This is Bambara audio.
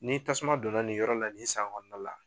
Ni tasuma donna nin yɔrɔ la, nin san kɔnɔna la